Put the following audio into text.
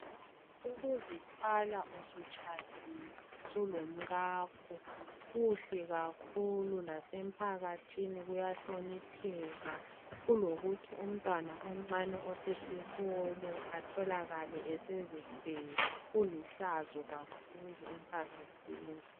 Ukuzithwala usutshadile sulomkakho kuhle kakhulu lasemphakathini kuyahlonipheka kulokuthi umntwana omncane osesikolo atholakale esezithwele kulihlazo kakhulu emphakathini.